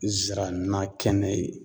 Zira na kɛnɛ ye